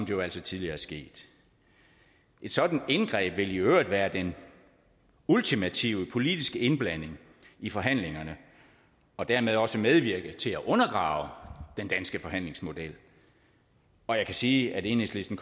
jo altså tidligere er sket et sådant indgreb vil i øvrigt være den ultimative politiske indblanding i forhandlingerne og dermed også medvirke til at undergrave den danske forhandlingsmodel og jeg kan sige at enhedslisten